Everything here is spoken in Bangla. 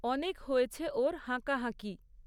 অনেক হয়েছে ওর হাঁকাহাঁকি।